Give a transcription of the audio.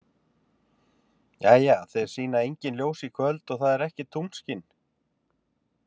Jæja, þeir sýna engin ljós í kvöld og það er ekkert tunglskin.